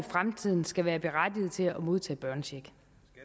i fremtiden skal være berettiget til at modtage børnecheck